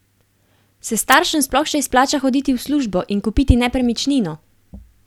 Se staršem sploh še izplača hoditi v službo in kupiti nepremičnino?